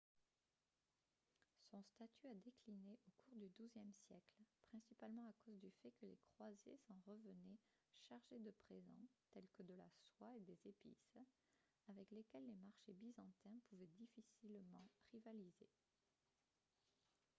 son statut a décliné au cours du douzième siècle principalement à cause du fait que les croisés s'en revenaient chargés de présents tels que de la soie et des épices avec lesquels les marchés byzantins pouvaient difficilement rivaliser